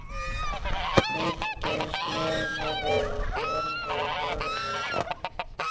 Birkir sneri sér við og horfði í norður.